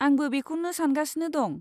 आंबो बेखौनो सानगासिनो दं।